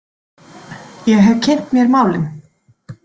Ég hef kynnt mér málin.